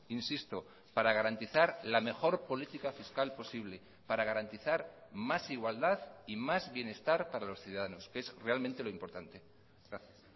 insisto para garantizar la mejor política fiscal posible para garantizar más igualdad y más bienestar para los ciudadanos que es realmente lo importante gracias